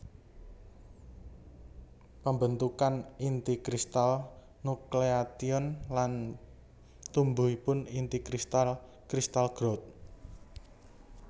Pembentukan inti kristal nucleation lan tumbuhipun inti kristal crystal growth